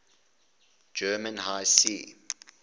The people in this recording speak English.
german high seas